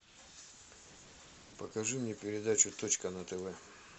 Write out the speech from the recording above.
покажи мне передачу точка на тв